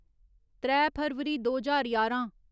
त्रै फरवरी दो ज्हार ञारां